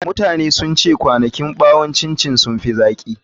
Mutane sun ce kwanakin ɓawon ƙwanƙwasa sun fi zaƙi.